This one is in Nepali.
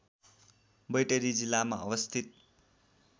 बैतडी जिल्लामा अवस्थित